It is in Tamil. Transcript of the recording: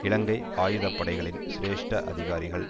இலங்கை ஆயுத படைகளின் சிரேஷ்ட அதிகாரிகள்